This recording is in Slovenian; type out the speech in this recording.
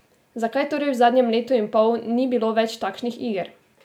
Zakaj torej v zadnjem letu in pol ni bilo več takšnih iger?